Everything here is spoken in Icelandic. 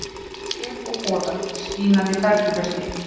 Sker og boðar: skínandi perlufesti.